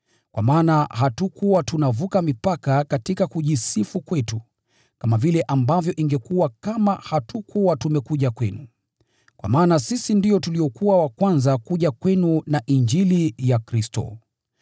Kwa maana hatukuwa tunavuka mipaka katika kujisifu kwetu, kama vile ambavyo ingekuwa kama hatukuwa tumekuja kwenu. Kwa maana sisi ndio tuliokuwa wa kwanza kuja kwenu na Injili ya Kristo.